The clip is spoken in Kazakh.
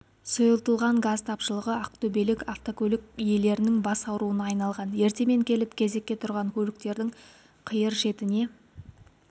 сұйылтылған газ тапшылығы ақтөбелік автокөлік иелерінің бас ауруына айналған ертемен келіп кезекке тұрған көліктердің қиыр шетіне